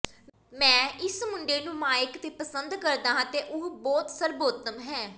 ਮੈਂ ਇਸ ਮੁੰਡੇ ਨੂੰ ਮਾਈਕ ਤੇ ਪਸੰਦ ਕਰਦਾ ਹਾਂ ਉਹ ਬਹੁਤ ਸਰਬੋਤਮ ਹੈ